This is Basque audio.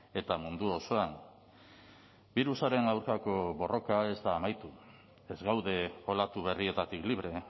eta mundu osoan birusaren aurkako borroka ez da amaitu ez gaude olatu berrietatik libre